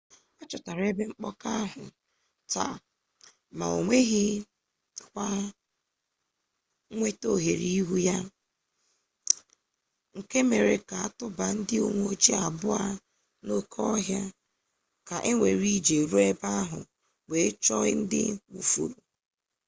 a chọtara ebe mkpọka ahụ taa ma ọ nweghịkwa nnwetaohere iru ya nke mere ka tụba ndị uwe ojii abụọ n'oke ọhịa ka ewere ije ruo ebe ahụ wee chọọ ndị nwụfọrọ